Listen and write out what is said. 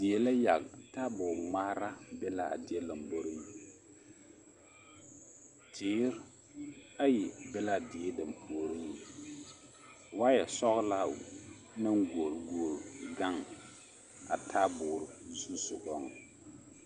Die la yage, taabo ŋmaara be l'a die lomboriŋ teere ayi be l'a die dampuoriŋ waayɛ sɔgelaa naŋ goɔle goɔle gaŋ a taaboore zusogɔŋ.